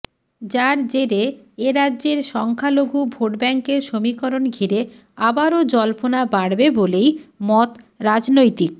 যার জেরে এ রাজ্যের সংখ্যালঘু ভোটব্যাঙ্কের সমীকরণ ঘিরে আবারও জল্পনা বাড়বে বলেই মত রাজনৈতিক